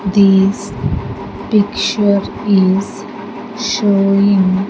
These picture is showing.